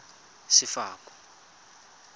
sefako